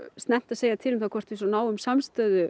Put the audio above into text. snemmt að segja til um það hvort við náum samstöðu